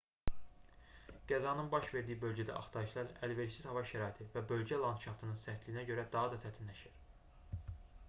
qəzanın baş verdiyi bölgədə axtarışlar əlverişsiz hava şəraiti və bölgə landşaftının sərtliyinə görə daha da çətinləşir